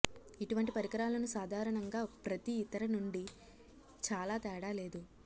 ఇటువంటి పరికరాలను సాధారణంగా ప్రతి ఇతర నుండి చాలా తేడా లేదు